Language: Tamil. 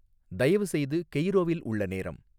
தயவுசெய்து கெய்ரோவில் உள்ள நேரம்